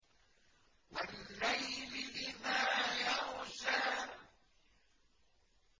وَاللَّيْلِ إِذَا يَغْشَىٰ